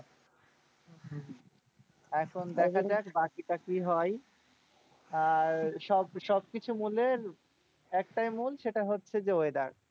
হম এখন দেখা যাক বাকিটা কি হয়। আর সব সবকিছু মূলের একটাই মূল সেটা হচ্ছে যে weather,